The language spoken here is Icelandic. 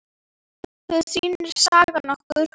Það sýnir sagan okkur.